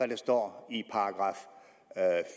der står